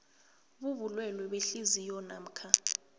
bobulwele behliziyo namkha